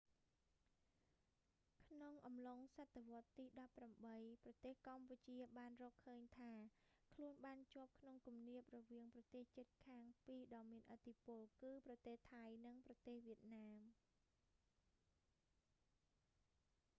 ក្នុងអំឡុងសតវត្សរ៍ទី 18 ប្រទេសកម្ពុជាបានរកឃើញថាខ្លួនបានជាប់ក្នុងគំនាបរវាងប្រទេសជិតខាងពីរដ៏មានឥទ្ធិពល គឺប្រទេសថៃ និងប្រទេស វៀតណាម